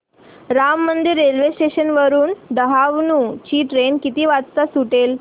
Ram Mandir railway station वरुन डहाणू ची train किती वाजता सुटेल